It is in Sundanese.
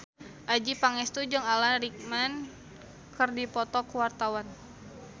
Adjie Pangestu jeung Alan Rickman keur dipoto ku wartawan